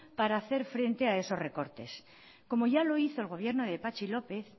para hacer frente a esos recortes como ya lo hizo el gobierno de patxi lópez